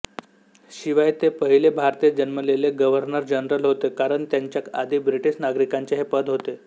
शिवाय ते पहिले भारतीय जन्मलेले गव्हर्नरजनरल होते कारण त्यांच्या आधी ब्रिटीश नागरिकांचे हे पद होते